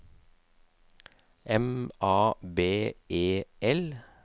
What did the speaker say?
M A B E L